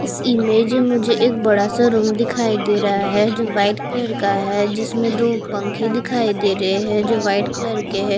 इस इमेज में मुझे एक बड़ा-सा पेड़ दिखाई दे रहा है जो व्हाइट कलर का है जिसमे दो पंखे दिखाई दे रहे है जो व्हाइट कलर के है।